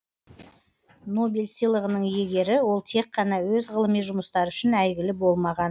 нобель сыйлығының иегері ол тек қана өз ғылыми жұмыстары үшін әйгілі болмаған